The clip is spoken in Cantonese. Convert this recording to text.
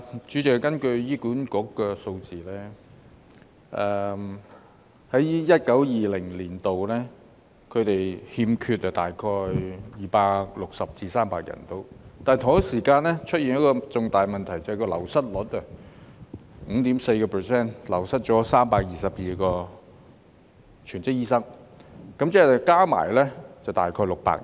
主席，根據醫管局的數字，在 2019-2020 年度，他們欠缺大約260至300名醫生，但同一時間出現了一個重大的問題，就是醫生流失率達 5.4%， 即322名全職醫生，合共大約600人。